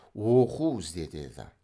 оқу ізде деді